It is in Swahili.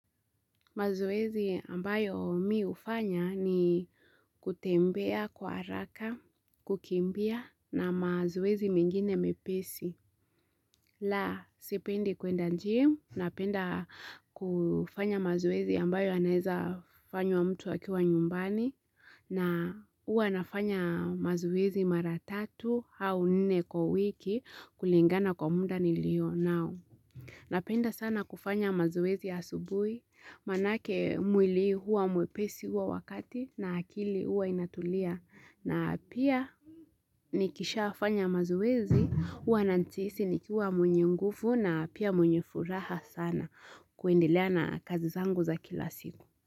Mazoezi ambayo mi hufanya ni kutembea kwa haraka, kukimbia na mazoezi mengine mepesi. La, sipendi kwenda gym, napenda kufanya mazoezi ambayo anaweza kufanywa mtu akiwa nyumbani, na huwa nafanya mazoezi maratatu au nne kwa wiki kulingana kwa muda ni lio nao. Napenda sana kufanya mazoezi ya asubuhi, maanake mwili huwa mwepesi huo wakati na akili huwa inatulia na pia nikisha fanya mazoezi huwa najihisi nikuwa mwenye nguvu na pia mwenye furaha sana kuendelea na kazi zangu za kila siku.